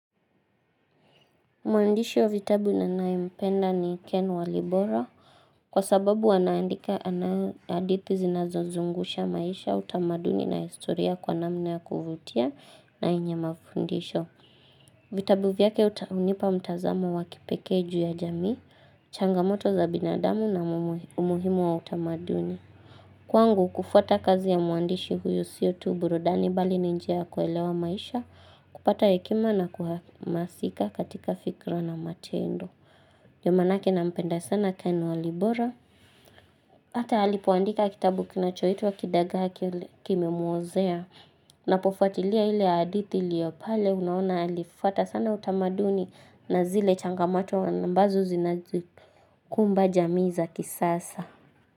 Mwandishi wa vitabu ninayempenda ni Ken Walibora kwa sababu anaandika hadithi zinazozungusha maisha utamaduni na historia kwa namna ya kuvutia na yenye mafundisho. Vitabu vyake hunipa mtazamo wa kipekee ju ya jamii, changamoto za binadamu na umuhimu wa utamaduni. Kwangu kufuata kazi ya muandishi huyu sio tu burudani bali ni njia ya kuelewa maisha, kupata hekima na kuhamasika katika fikira na matendo. Ndio maanake nampenda sana ken walibora. Ata halipoandika kitabu kinachoitwa kidagaa kimemuozea. Ninapofuatilia ile hadithi iliyopale unaona alifuata sana utamaduni na zile changamato ambazo zinazikumba jamii za kisasa.